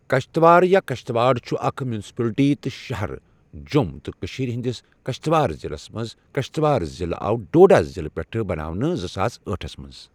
کَشٹٕوار یا کَشٹٕواڑ چھُ اَکھ مُنسِپَلٹی تہٕ شَہَر جۆم تہٕ کٔشیٖر ہنٔدِس کَشٹٕوار ضِلعس منٛز کَشٹٕوار ضِلعہٕ آو ڈوڈا ضِلعہٕ پؠٹھٕ بَناونہٕ زٕ ساس ٲٹھس مَنٛز